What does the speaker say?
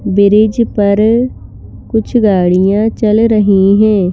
Bridge पर कुछ गाड़ियां चल रही हैं।